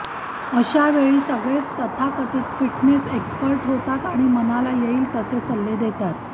अशावेळी सगळेच तथाकथित फिटनेस एक्स्पर्ट होतात आणि मनाला येईल तसे सल्ले देतात